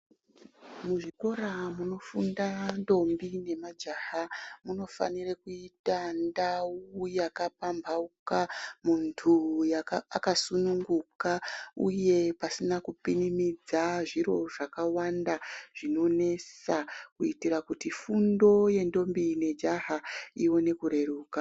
Muzvikora munofunda ndombi nemajaha munofanire kuita ndau yakapamhauka muntu akasununguka uye pasina kupinimidza zviro zvakawanda zvinonesa, kuitira kuti fundo yendombi nejaha ione kureruka.